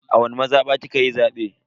A wani mazaba kikayi zabe?